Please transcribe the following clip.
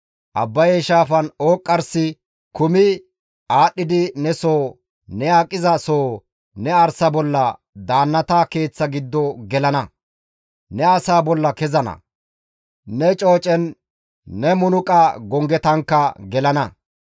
Abbaye shaafan ooqqarsi kumi aadhdhidi ne soo, ne aqiza soo, ne arsa bolla, daannata keeththa giddo gelana; ne asaa bolla kezana; ne coocen ne munuqa gonggetankka gelana.